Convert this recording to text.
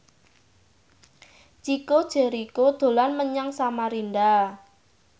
Chico Jericho dolan menyang Samarinda